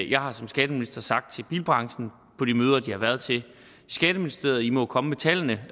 jeg har som skatteminister sagt til bilbranchen på de møder de har været til i skatteministeriet i må komme med tallene